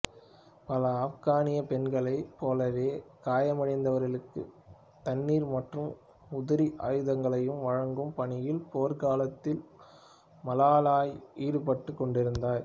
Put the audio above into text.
பல ஆப்கானிய பெண்களைப் போலவே காயமடைந்தவர்களுக்கும் தண்ணீர் மற்றும் உதிரி ஆயுதங்களையும் வழங்கும் பணியில் போர்க்களத்தில் மலாலாய் ஈடுபட்டுக் கொண்டிருந்தார்